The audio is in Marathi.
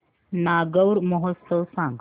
नागौर महोत्सव सांग